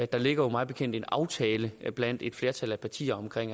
der ligger jo mig bekendt en aftale blandt et flertal af partier